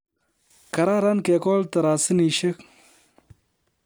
Kararan kekol tarasinishek